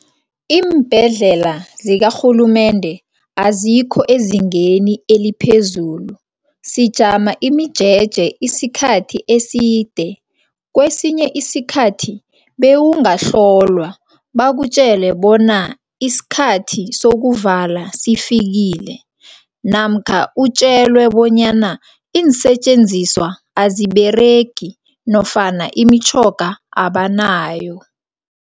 Iimbhedlela zikarhulumende azikho ezingeni eliphezulu sijama imijeje isikhathi eside. Kwesinye isikhathi bewungahlolwa bakutjele bona isikhathi sokuvala sifikile namkha utjelwe bonyana iinsetjenziswa aziberegi nofana imitjhoga abanayo.